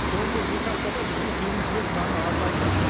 соңғы екі аптада бізге келушілер саны азайды